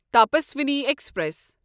Tapaswini express